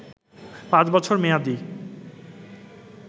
পাঁচ বছর মেয়াদী